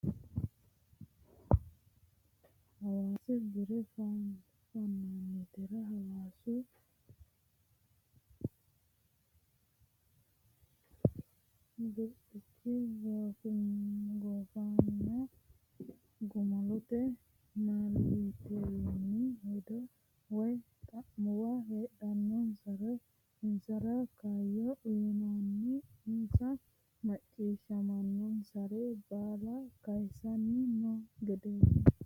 Hasaawu bare fanonitera hasaawu birxichi goofenna gumulote miillatewinni hedo woyi xa'muwa heedhunsaro insra kayyo uyinenna insa macciishshamisare baalla kayisanni no gedeti.